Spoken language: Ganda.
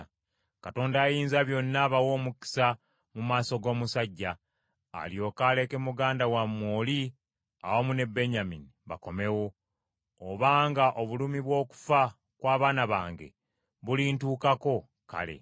Katonda Ayinzabyonna abawe omukisa mu maaso g’omusajja, alyoke aleke muganda wammwe oli awamu ne Benyamini bakomewo. Obanga obulumi bw’okufa kw’abaana bange bulintuukako, kale.”